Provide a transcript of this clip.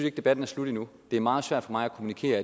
ikke debatten er slut endnu det er meget svært for mig at kommunikere